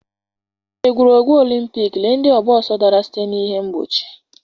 N'egwuregwu Olympic, lee ndị ọgba ọsọ dara site n'ihe mgbochi.